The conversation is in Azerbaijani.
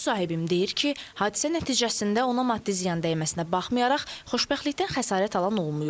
Müsahibim deyir ki, hadisə nəticəsində ona maddi ziyan dəyməsinə baxmayaraq xoşbəxtlikdən xəsarət alan olmayıb.